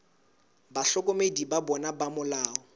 bahlokomedi ba bona ba molao